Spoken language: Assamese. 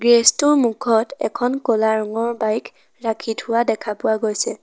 গেৰেজ টোৰ মুখত এখন ক'লা ৰঙৰ বাইক ৰাখি থোৱা দেখা পোৱা গৈছে।